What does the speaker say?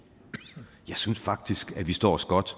jeg synes faktisk at vi står os godt